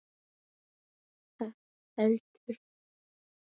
Ekki heldur